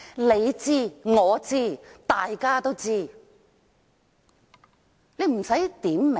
你知、我知，大家都知，不需要點名。